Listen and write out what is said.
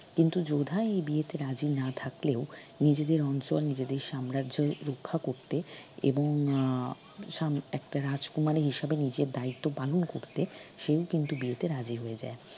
কিন্তু যোধা এই বিয়েতে রাজি না থাকলেও নিজেদের অঞ্চল নিজেদের সাম্রাজ্য রক্ষা করতে এবং আহ সাম একটা রাজকুমারী হিসাবে নিজের দায়িত্ব পালন করতে সেই কিন্তু বিয়েতে রাজি হয়ে যায়।